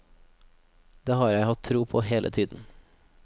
Det har jeg hatt tro på hele tiden.